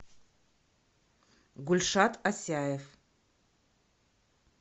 гульшат асяев